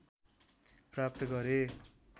प्राप्त गरे